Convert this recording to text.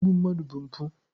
Igbu mmadụ bụ mpụ.